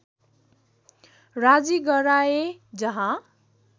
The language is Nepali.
राजी गराए जहाँ